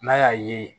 N'a y'a ye